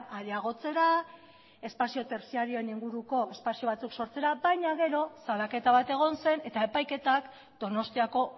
areagotzera espazio tertziarioen inguruko espazio batzuk sortzera baina gero salaketa bat egon zen eta epaiketak donostiako